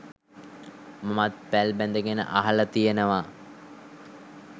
මමත් පැල් බැඳගෙන අහලා තියෙනවා